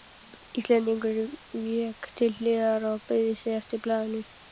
Íslendingurinn vék til hliðar og beygði sig eftir blaðinu.